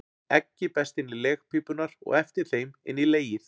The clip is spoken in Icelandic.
Eggið berst inn í legpípurnar og eftir þeim inn í legið.